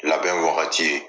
Labɛn wagati